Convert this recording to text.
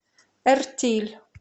эртиль